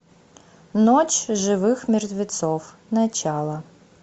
ночь живых мертвецов начало